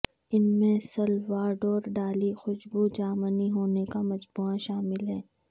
ان میں Salvador Dali خوشبو جامنی ہونوں کا مجموعہ شامل ہے